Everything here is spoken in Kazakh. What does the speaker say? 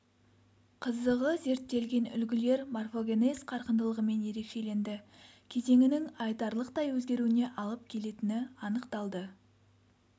қызығы зерттелген үлгілер морфогенез қарқындылығымен ерекшеленді кезеңінің айтарлықтай өзгеруіне алып келетіні анықталды